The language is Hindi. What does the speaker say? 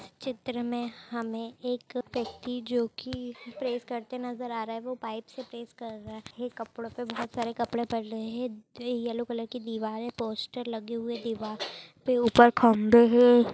चित्र में हमे एक व्यक्ति जो की प्रेस करते नजर आ रहा हैं वो पाइप से प्रेस कर रहा हैं ये कपड़ो पे बहुत सारे कपडे पड़ रहे हैं येलो कलर की दिवार हैं पोस्टर लगे हुए दिवार पे ऊपर खम्बे हैं।